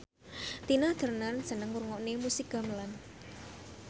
Tina Turner seneng ngrungokne musik gamelan